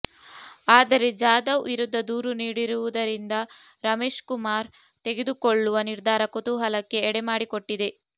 ಆದರೆ ಜಾಧವ್ ವಿರುದ್ಧ ದೂರು ನೀಡಿರುವುದರಿಂದ ರಮೇಶ್ಕುಮಾರ್ ತೆಗೆದುಕೊಳ್ಳುವ ನಿರ್ಧಾರ ಕುತೂಹಲಕ್ಕೆ ಎಡೆಮಾಡಿಕೊಟ್ಟಿದೆ